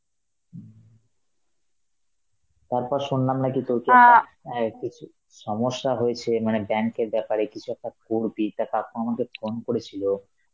হম, তারপর শুনলাম নাকি তোর অ্যাঁ কিছু সমস্যা হয়েছে, মানে bank এর ব্যাপারে কিছু একটা করবি, তা কাকু আমাকে phone করেছিল,